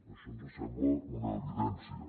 això ens sembla una evidència